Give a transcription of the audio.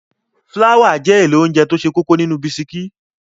Fláwà jẹ́ èlò óńjẹ tó ṣe kókó nínú bisikí.